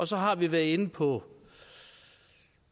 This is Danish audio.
så har vi været inde på